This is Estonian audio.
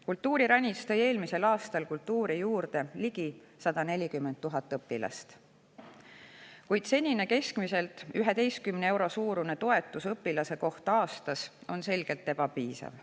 Kultuuriranits tõi eelmisel aastal kultuuri juurde ligi 140 000 õpilast, kuid senine, keskmiselt 11 euro suurune toetus õpilase kohta aastas on selgelt ebapiisav.